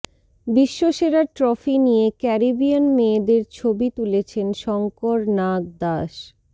বিশ্বসেরার trophy নিয়ে Caribbean মেয়েদের ছবি তুলেছেন শঙ্কর নাগ দাস